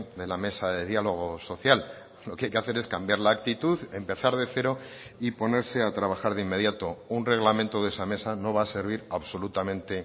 de la mesa de diálogo social lo que hay que hacer es cambiar la actitud empezar de cero y ponerse a trabajar de inmediato un reglamento de esa mesa no va a servir absolutamente